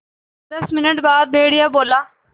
दस मिनट बाद भेड़िया बोला